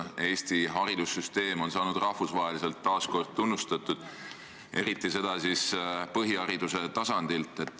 Eesti haridussüsteem on saanud rahvusvaheliselt taas kord tunnustatud, eriti siis põhihariduse tasandil.